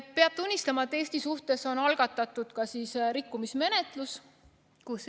Peab tunnistama, et Eesti suhtes on algatatud rikkumismenetlus.